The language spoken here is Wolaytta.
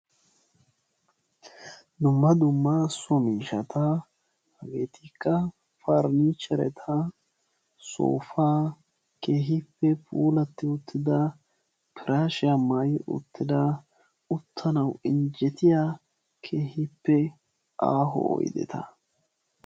dumma dumma so miishshata hegetikka paranichceriyaa, soopa, keehippe puulatti uttida pirashiya maayi uttida uttanaw injjettiyaa aaho oydetta.